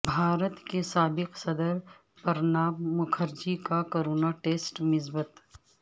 بھارت کے سابق صدر پرناب مکھرجی کا کرونا ٹیسٹ مثبت